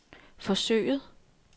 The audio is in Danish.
forsøget